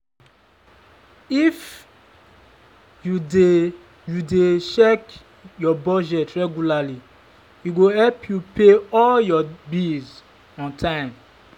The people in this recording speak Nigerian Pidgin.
if you dey you dey check your budget regularly e go help you pay all your bills on time.